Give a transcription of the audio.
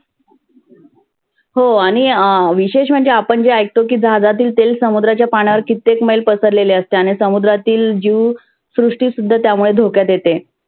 हो आणि विषेश म्हणजे आपण म्हणजे ऐकतो की जहाजातील तेल समुद्राच्या पाण्यावरती कित्तेक मैल पसरलेले असते. त्याने समुद्रातील जिव सृष्ठसुध्दा धोक्यात येते.